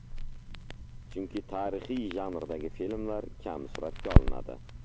Chunki tarixiy janrdagi filmlar kam suratga olinadi.